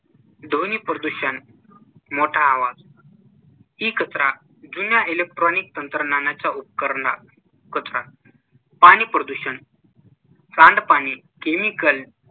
ध्वनीप्रदूषण मोठा आवाज e कचरा जुन्या electronic तंत्रज्ञानाच्या उपकरणा कचरा पाणी प्रदूषण सांडपाणी, chemical